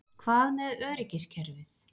Hvað með öryggiskerfið?